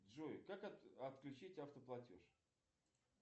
джой как отключить автоплатеж